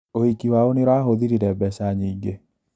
ũhiki wao nĩũrahũthĩrire mbeca nyingĩ